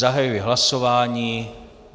Zahajuji hlasování.